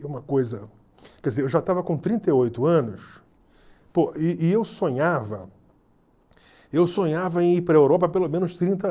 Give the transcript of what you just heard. uma coisa... Quer dizer, eu já estava com trinta e oito anos, pô, e e eu sonhava eu sonhava em ir para a Europa há pelo menos trinta